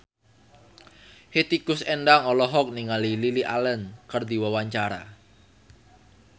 Hetty Koes Endang olohok ningali Lily Allen keur diwawancara